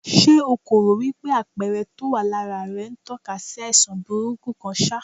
Ṣé o kò rò wípé àpẹẹrẹ tó wà lára rẹ̀ ń tó ka sí àìsàn burúkú kan ṣá?